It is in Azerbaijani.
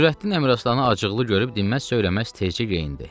Nurəddin Əmiraslanı acıqlı görüb dinməz-söyləməz tərcə geyindi.